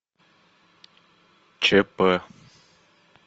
чп